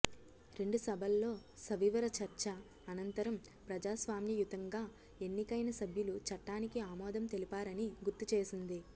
రెండు సభల్లో సవివర చర్చ అనంతరం ప్రజాస్వామ్యయుతంగా ఎన్నికైన సభ్యులు చట్టానికి ఆమోదం తెలిపారని గుర్తు చేసింది